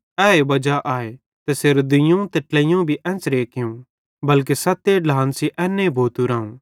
ए वजा आए तैसेरे दुइयोवं ते ट्लेइयोवं भी एन्च़रे कियूं बल्के सत्ते ढ्लान सेइं एन्ने भोतू राऊं